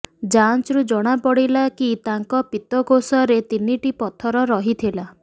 ଯାଞ୍ଚରୁ ଜଣାପଡ଼ିଲା କି ତାଙ୍କ ପିତକୋଷରେ ତିନିିଟି ପଥର ରହିଥିଲା